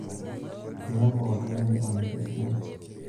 Miaku oltung'ani onyorr isilen.